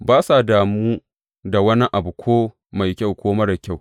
Ba sa damu da wani abu ko mai kyau ko marar kyau.